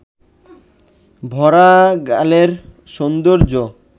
ভরা গালের সৌন্দর্য